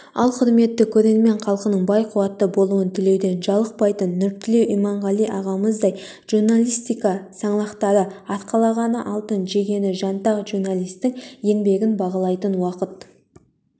ал құрметті көрермен халқының бай-қуатты болуын тілеуден жалықпайтын нұртілеу иманғали ағамыздай журналистика саңлақтары арқалағаны алтын жегені жантақ журналисттің еңбегін бағалайтын уақыт